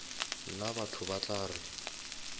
nna batho ba tla re